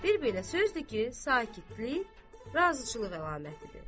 Bir belə sözdür ki, sakitlik razıçılıq əlamətidir.